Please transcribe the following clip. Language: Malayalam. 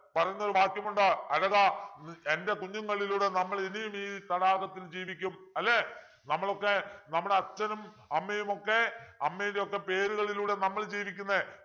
പറയുന്നൊരു വാക്യമുണ്ട് അഴകാ എൻ്റെ കുഞ്ഞുങ്ങളിലൂടെ നമ്മൾ ഇനിയും ഈ തടാകത്തിൽ ജീവിക്കും അല്ലെ നമ്മളൊക്കെ നമ്മുടെ അച്ഛനും അമ്മയും ഒക്കെ അമ്മയുടെയൊക്കെ പേരുകളില് നമ്മൾ ജീവിക്കുന്നെ